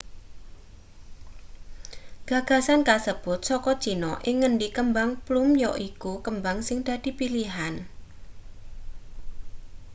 gagasan kasebut saka china ing ngendi kembang plum yaiku kembang sing dadi pilihan